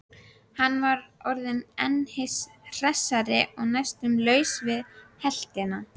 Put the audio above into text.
Hann var orðinn hinn hressasti og næstum laus við heltina.